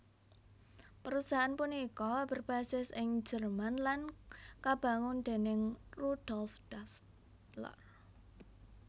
Perusahaan punika berbasis ing Jerman lan kabangun déning Rudolf Dassler